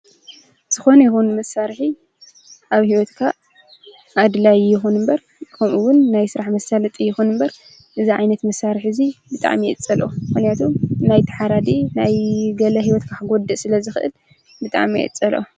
ዝኾነ ይኹን መሳርሒ ኣብ ሂወትካ ኣድላይ ኣይኹን እምበር ከምኡ ውን ናይ ስራሕ መሳለጢ ይኹን እምበር እዚ ዓይነት መሳርሒ እዚ ብጣዕሚ እየ ዝፀልኦ፡፡ ምኽንያቱም ናይቲ ሓራዲ ናይ ገለ ሂወትካ ክጎድእ ስለዝኽእል ብጣዕሚ እየ ዝፀልኦ፡፡